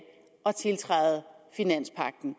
at tiltræde finanspagten